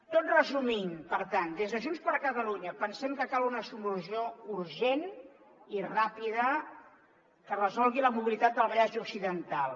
tot resumint per tant des de junts per catalunya pensem que cal una solució urgent i ràpida que resolgui la mobilitat del vallès occidental